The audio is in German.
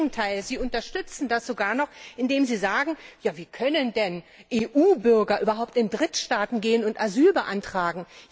Im Gegenteil, sie unterstützen das sogar noch, indem sie sagen Ja, wie können denn EU Bürger überhaupt in Drittstaaten gehen und Asyl beantragen!